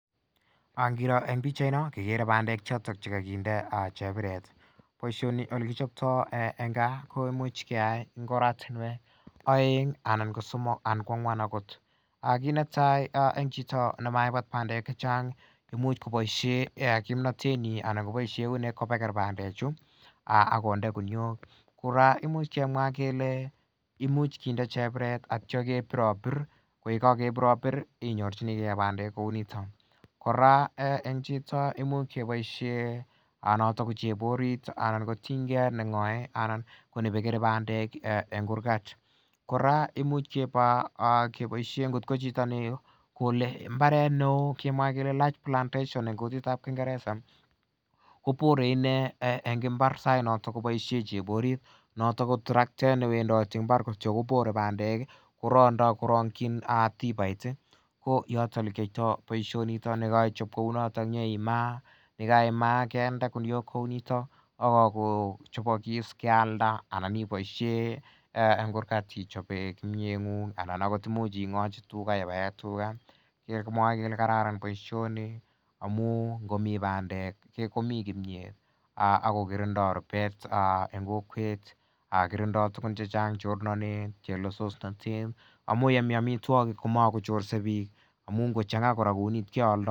Ngiroo en pichait non kikere bandek choton chekokinde cheburet boisioni elekichoptoo en kaa koimuch keyai en ortinwek oeng ana ko somok ana ko ang'wan akot. Kit netai en chito nemaibat bandek imuch koboisien kimnotet nyin koboker bandek chu ak konde guniet imuch kinde cheburet ak itya kebirobir ko yekokebir inyorchigee nandiek kouniton kora en chito imuch keboisien noton ko cheborit anan kotinygee ak neng'oe anan nebekere bandek en kurgat kora imuch keba keboisien kot ko chito nekole mbaret neoo kemwae kele large plantation en kutit ab kingereza ko bore inee en mbar sait noton koboisien cheborit noton ko traktet newendoti mbar kobore bandek ak korondoo korongyin tibait ih koyoto elekiyoitoo boisioniton yekeichop kouniton inyeimaa yekaimaa kende guniok kouniton ako chobokis kealda anan iboisien en kurgat ichoben kurgat ng'ung ana ot imuch ing'ochi tuga ibaen tuga iker ile kararan boisioni amu komii bandek komii kimiet ako kirindoo rupet en kokwet kirindoo tugun chechang chornotet chelesosnotet amu elemii amitwogik komakochorse biik amu ngochang'a kora kouni keoldoo